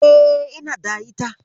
E, ina da ita.